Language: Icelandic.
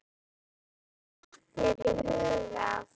Hvernig datt þér í hug að?